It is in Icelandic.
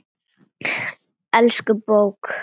Elsku bók!